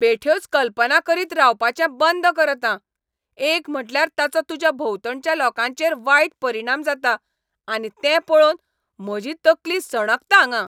बेठ्योच कल्पना करीत रावपाचें बंद कर आतां. एक म्हटल्यार ताचो तुज्या भोंवतणच्या लोकांचेर वायट परिणाम जाता आनी तें पळोवन म्हजी तकली सणकता हांगां.